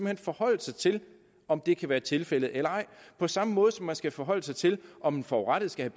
hen forholde sig til om det kan være tilfældet eller ej på samme måde som man skal forholde sig til om den forurettede skal